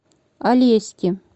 алеськи